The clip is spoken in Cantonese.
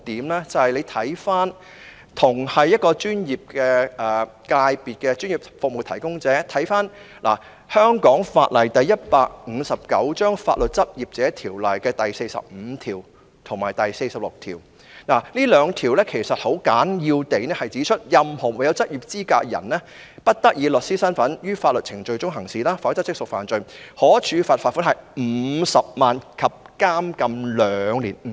大家可以參看有關同屬專業界別的專業服務提供者的法例，根據香港法例《法律執業者條例》第45及46條，這兩項條文簡要地指出，任何沒有執業資格的人，不得在法律程序中以律師身份行事，否則即屬犯罪，可處罰款50萬元及監禁兩年。